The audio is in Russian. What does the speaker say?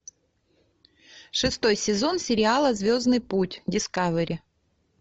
шестой сезон сериала звездный путь дискавери